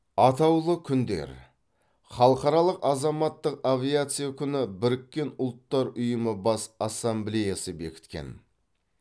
атаулы күндер халықаралық азаматтық авиация күні біріккен ұлттар ұйымы бас ассамблеясы бекіткен